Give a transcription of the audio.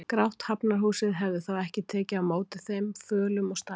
Grátt Hafnarhúsið hefði þá ekki tekið á móti þeim, fölum og starandi.